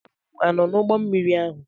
Ibu m a nọ n'ụgbọ mmiri ahụ?